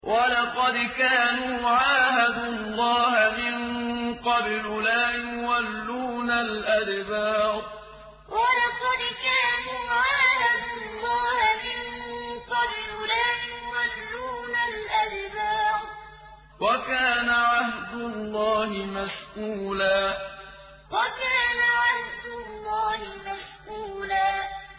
وَلَقَدْ كَانُوا عَاهَدُوا اللَّهَ مِن قَبْلُ لَا يُوَلُّونَ الْأَدْبَارَ ۚ وَكَانَ عَهْدُ اللَّهِ مَسْئُولًا وَلَقَدْ كَانُوا عَاهَدُوا اللَّهَ مِن قَبْلُ لَا يُوَلُّونَ الْأَدْبَارَ ۚ وَكَانَ عَهْدُ اللَّهِ مَسْئُولًا